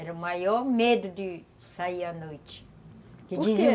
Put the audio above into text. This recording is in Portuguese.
Era o maior medo de sair à noite. Que dizem, por quê?